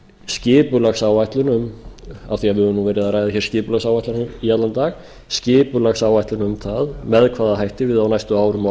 skipulagsáætlun um af því að við höfum verið að ræða skipulagsáætlanir í allan dag skipulagsáætlun um það með hvaða hætti við á næstu árum og